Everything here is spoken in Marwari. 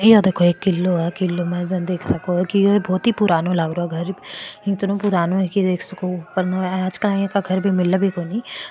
ये देखो एक किलो है किलो में देख सको है की बहुत ही पुराणों लाग रो इतने पुरानो लाग रो है घर इतना पुराणों है --